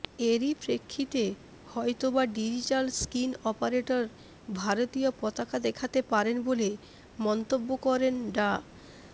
এরই প্রেক্ষিতে হয়তো বা ডিজিটাল স্ক্রিন অপারেটর ভারতীয় পতাকা দেখাতে পারেন বলে মন্তব্য করেন ডা